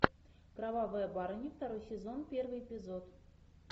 кровавая барыня второй сезон первый эпизод